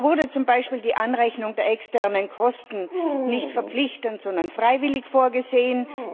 So wurde zum Beispiel die Anrechnung der externen Kosten nicht verpflichtend, sondern freiwillig vorgesehen.